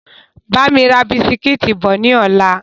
Bámi ra bisikítì bọ̀ ni ọ̀la!